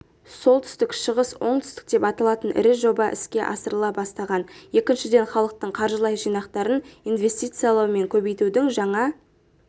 солтүстік-шығыс-оңтүстік деп аталатын ірі жоба іске асырыла бастаған екіншіден халықтың қаржылай жинақтарын инвестициялау мен көбейтудің жаңа